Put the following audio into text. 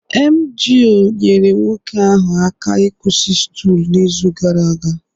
emgyl nyeere nwoke ahụ aka ịkwụsị stool n'izu gara aga